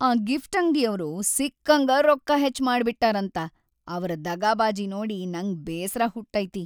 ಆ ಗಿಫ್ಟ್‌ ಅಂಗ್ಡಿಯವ್ರು ಸಿಕ್ಕಂಗಾ ರೊಕ್ಕ ಹೆಚ್ಚ ಮಾಡಿಟ್ಟಾರಂತ ಅವ್ರ ದಗಾಬಾಜಿ ನೋಡಿ ನಂಗ್ ಬೇಸ್ರ ಹುಟ್ಟೈತಿ.